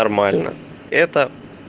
нормально это